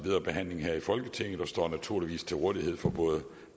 behandling i folketinget og står naturligvis til rådighed for både